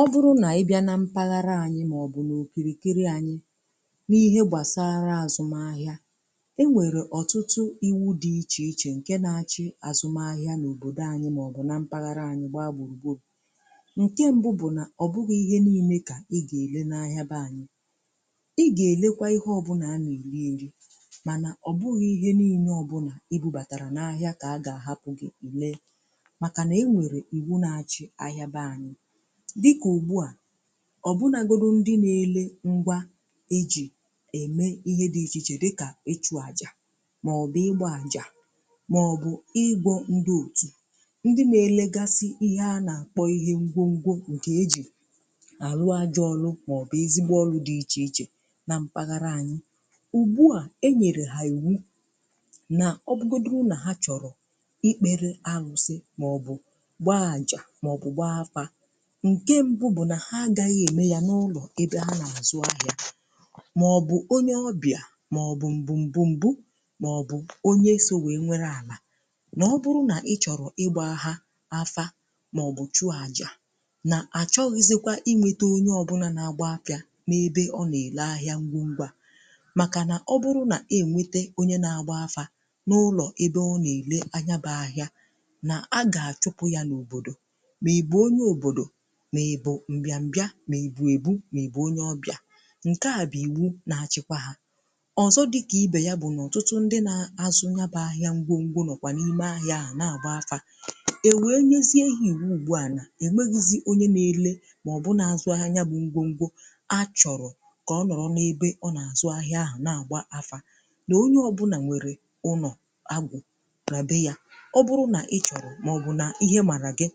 O bụrụ nà ị bịà na mpaghara anyị màọbụ̀ n’òkìrìkiri anyị̇ n’ihe gbàsara àzụm ahịa e nwèrè ọ̀tụtụ iwu̇ dị ichè ichè, ǹke na-achị àzụm ahịa n’òbòdò anyị̇ màọbụ̀ na mpaghara anyị̇ gbaa gbùrùgburù ǹke mbụ bụ̀ nà ọ bụghị̇ ihe niile kà ị gà-èle n’ahịa be anyị̇ ị gà-èlekwa. Ihe ọbụ̇ na-eli eri mànà ọ̀ bụghị̇ ihe niile ọbụ̇ nà ịbubàtàrà n’ahịa kà a gà-àhapụ̀ gị̀ ilee ọ̀ bụnagoro ndị na-ele ngwa ejì ème ihe dị̀ ichè dịkà ịchụ àjà maọ̀bụ̀ ịgbà àjà maọ̀bụ̀ ịgwọ̇ ndị òtù ndị na-elegasị ihe a na-akpọ̀ ihe ngwọ ngwọ̇ nke ejì anụ àjàọlụ̇ maọ̀bụ̀ ezigbo ọlụ̀ dị iche ichè na mpaghara anyị̀ ugbu à e nyere ha iwu nà ọbụgodi ụnà ha chọ̀rọ̀ ikpere anụ̀sị̀ maọ̀bụ̀ gbaa àjà nke mbụ̀ bụ̀ na ha agaghị̀ eme yà n’ụlọ̀ ebe ha na-azụ̀ ahịà maọ̀bụ̀ onye ọbịà maọ̀bụ̀ mbụ̀ mbụ̀ mbụ̀ maọ̀bụ̀ onye oge wee nwere alà na ọ bụrụ̀ nà ị chọrọ̀ ịgbà ha afà maọ̀bụ̀ chụ ajà na achọghizikwà inwetè onye ọbụlà na agba afịà n’ebe ọ na-ele ahịà ngwọ ngwà à makà na ọ bụrụ̀ na enwetè onye na agbà afà n’ụlọ̀ ebe ọ na-ele anya bụ̀ ahịà na a ga-achụpụ̀ yà n’òbodò m̀egbu̇ m̀bia m̀egbu̇ èbu m̀egbu onye ọbịà nke à bụ̀ iwu na-achị̇kwà hà ọzọ̇ dịkà ibè yà bụ̀ nà ọtụtụ ndị nȧ-azụ̀ nyaba ahịa ngwo ngwo nọkwà n’ime ahịà ahụ̀ na-agba afà e were nyezie ihe iwu ugbu à nà emeghịzị onye na-ele maọbụ nà azụ ahịà nyabụ ngwo ngwo achọrọ̀ kà ọ nọrọ n’ebe ọ na-azụ ahịà ahụ̀ na-agba afà na onye ọbụnà nwere ụnọ̀ agụ̀ na be yà ọ bụrụ̀ na ịchọrọ̀ maọbụ̀ nà ihe màrà gị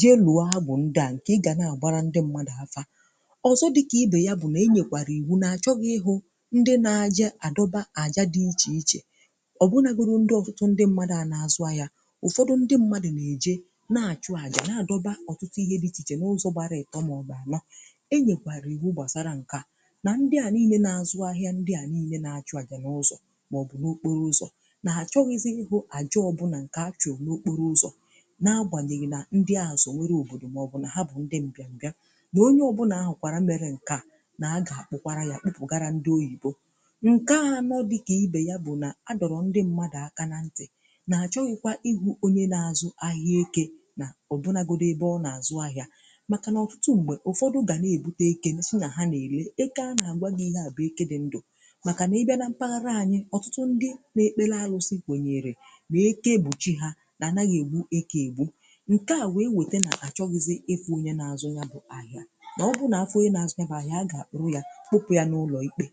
je lụọ bụ ndị a nke ị ga na-agbara ndị mmadụ afa ọzọ dịka ibė ya bụ na enyekwara iwu na-achọghị ndị na-aja adọba aja dị iche iche ọbụnagoro ndị ọfụtụ ndị mmadụ a na-azụ ahịa ụfọdụ ndị mmadụ na-eje na-achụ aja na-adọba ọtụtụ ihe dị iche iche na ụzọ gbara ịkọ maọbụ anọ e nyekwara iwu gbasara nka na ndị a niile na-azụ ahịa ndị a niile na-achụ aja n'ụzọ maọbụ n'okporo ụzọ na-achọghị ziihu aja ọbụna na-agbanyeghì na ndị azụ̀ nwere òbòdò maọ̀bụ̀ na ha bụ̀ ndị mbịà mbịà na onye ọbụnà ahụkwàrà mere nke à na-agà akpụkwarà ya akpụpụ̀garà ndị oyibo nke à nọ dịkà ibè ya bụ̀ nà adọrọ̀ ndị mmadụ̀ aka na ntị̀ na-achọghịkwa ihu onye na-azụ ahịà eke nà ọbụnagodò ebe ọ na-azụ̀ ahịà makà na ọtụtụ m̀mè ụfọdụ̀ ga na-ebute eke nà i na-ère eke, a na-agbaghị̀ ihe à bụ̀ eke dị̀ ndụ̀ makà na ịbịà na mpaghara anyị̀ ọtụtụ ndị na-ekpe làra osikwe. Nya erè na-eke gbùchi ha ǹke à wụ̀ ewète nà àchọ ghịzị efu nye. na-azụ ya bụ̀ ahịa nà ọ bụ nà afụghị na-azụ nabụ̀ ahịa,a gà-àkpụrụ ya kpọpụ ya n’ụlọ ikpe.